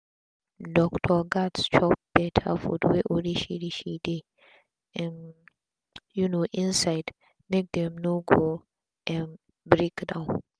doctor gats chop beta food wey orishiorishi dey um um inside make dem no go um break down